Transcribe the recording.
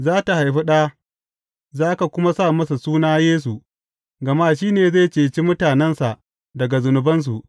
Za tă haifi ɗa, za ka kuma sa masa suna Yesu, gama shi ne zai ceci mutanensa daga zunubansu.